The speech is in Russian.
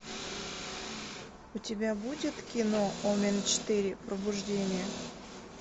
у тебя будет кино омен четыре пробуждение